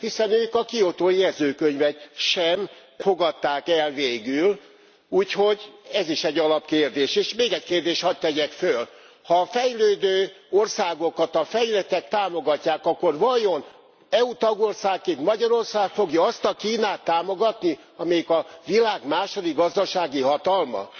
Hiszen ők a Kiotói Jegyzőkönyvet sem fogadták el végül, úgyhogy ez is egy alapkérdés. És még egy kérdést hadd tegyek föl ha a fejlődő országokat a fejlettek támogatják, akkor vajon EU tagországként Magyarország fogja azt a Kínát támogatni, amelyik a világ második gazdasági hatalma?